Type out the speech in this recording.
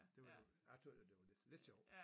Det var jeg tøgges jo det var lidt lidt sjovt